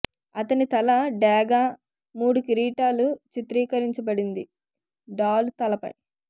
అతని తల డేగ మూడు కిరీటాలు చిత్రీకరించబడింది డాలు తలపై